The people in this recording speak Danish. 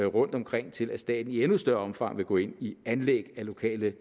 rundtomkring til at staten i endnu større omfang vil gå ind i anlæg af lokale